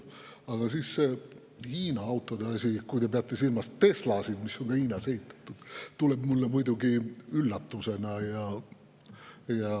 Aga see Hiina autode asi: kui te peate silmas Teslasid, mis on Hiinas ehitatud, siis see tuleb mulle muidugi üllatusena.